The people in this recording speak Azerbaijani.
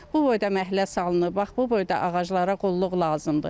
Bu boyda məhlə salınıb, bax bu boyda ağaclara qulluq lazımdır.